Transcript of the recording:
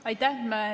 Aitäh!